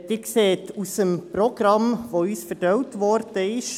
Sie sehen es im Programm, das uns ausgeteilt worden ist: